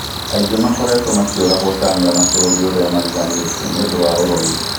Aingĩ makoretwo makiũragwo Tanga na bũrũri ũrĩa mariganĩtie nĩũndũ wa ũrogi.